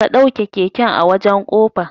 Ka ɗauke keken a wajan kofa